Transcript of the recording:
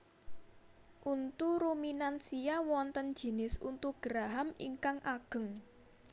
Untu ruminansia wonten jinis untu geraham ingkang ageng